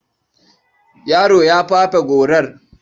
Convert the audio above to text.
Yaron ya fafe gorar.